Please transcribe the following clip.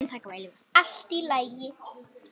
Allt er í lagi.